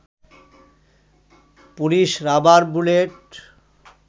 police rubber bullet